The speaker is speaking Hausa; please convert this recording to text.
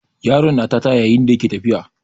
Yaron na tata yayin da yake tafiya.